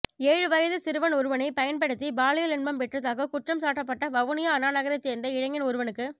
ஏழு வயது சிறுவன் ஒருவனைப் பயன்படுத்தி பாலியல் இன்பம் பெற்றதாகக் குற்றம் சாட்டப்பட்ட வவுனியா அண்ணாநகரைச் சேர்ந்த இளைஞன் ஒருவனுக்கு